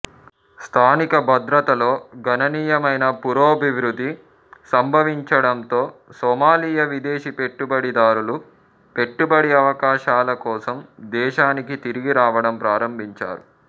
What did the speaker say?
స్థానిక భద్రతలో గణనీయమైన పురోభివృద్ది సంభవించడంతో సోమాలియా విదేశీ పెట్టుబడిదారులు పెట్టుబడి అవకాశాల కోసం దేశానికి తిరిగి రావడం ప్రారంభించారు